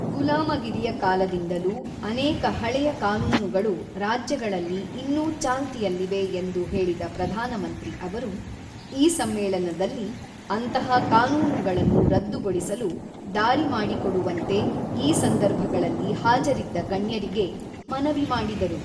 ಗುಲಾಮಗಿರಿಯ ಕಾಲದಿಂದಲೂ ಅನೇಕ ಹಳೆಯ ಕಾನೂನುಗಳು ರಾಜ್ಯಗಳಲ್ಲಿ ಇನ್ನೂ ಚಾಲ್ತಿಯಲ್ಲಿವೆ ಎಂದು ಹೇಳಿದ ಪ್ರಧಾನಮಂತ್ರಿ ಅವರು, ಈ ಸಮ್ಮೇಳನದಲ್ಲಿ ಅಂತಹ ಕಾನೂನುಗಳನ್ನು ರದ್ದುಗೊಳಿಸಲು ದಾರಿ ಮಾಡಿಕೊಡುವಂತೆ ಈ ಸಂದರ್ಭಗಳಲ್ಲಿ ಹಾಜರಿದ್ದ ಗಣ್ಯರಿಗೆ ಮನವಿ ಮಾಡಿದರು.